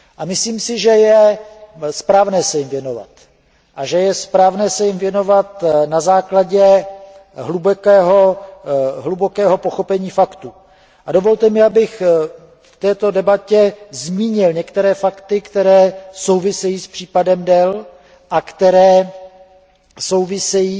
Myslím si, že je správné se jim věnovat a že je správné se jim věnovat na základě hlubokého pochopení faktů a dovolte mi, abych v této debatě zmínil některé fakty, které souvisejí s případem Dell a které souvisejí